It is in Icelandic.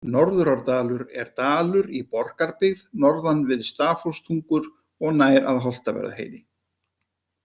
Norðurárdalur er dalur í Borgarbyggð norðan við Stafholtstungur og nær að Holtavörðuheiði.